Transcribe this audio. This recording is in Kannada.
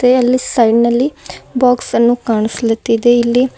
ಅಲ್ಲಿ ಸೈಡ್ ನಲ್ಲಿ ಬಾಕ್ಸ್ ಅನ್ನು ಕಾಣ್ಸಲುತ್ತಿದೆ ಇಲ್ಲಿ--